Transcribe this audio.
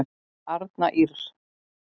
Arna Ýrr.